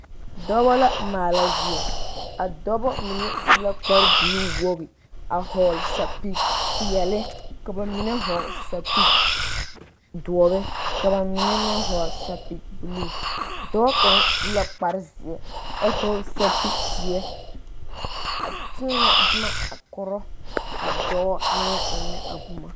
Dɔɔba la maala zie a dɔɔba mine su la kpare buluu wogi a vɔgle sapele peɛle ka bamine vɔgle sapele doɔre ka bamine meŋ vɔgle sapele buluu dɔɔ kaŋ su la kpare ziɛ a vɔgle sapele ziɛ a tenne boma koro a dɔɔ naŋ eŋe a boma.